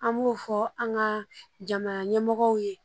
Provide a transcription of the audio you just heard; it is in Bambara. An b'o fɔ an ka jamana ɲɛmɔgɔw ye